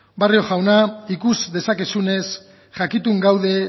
barrio jauna ikus dezakezunez jakitun gaude